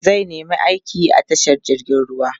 zai nema aiki a tashar jirgin ruwa